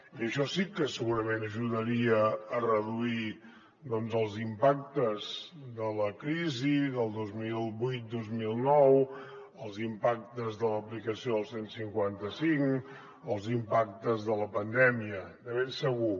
i això sí que segurament ajudaria a reduir doncs els impactes de la crisi del dos mil vuit dos mil nou els impactes de l’aplicació del cent i cinquanta cinc els impactes de la pandèmia de ben segur